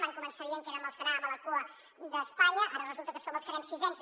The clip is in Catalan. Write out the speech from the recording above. van començar dient que érem els que anàvem a la cua d’espanya ara resulta que som els que anem sisens